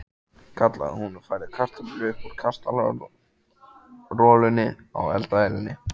kallaði hún og færði kartöflur upp úr kastarolunni á eldavélinni.